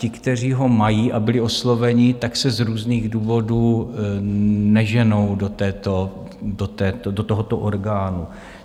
Ti, kteří ho mají a byli osloveni, tak se z různých důvodů neženou do tohoto orgánu.